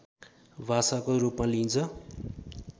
भाषाको रूपमा लिइन्छ